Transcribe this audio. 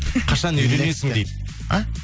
қашан үйленесің дейді а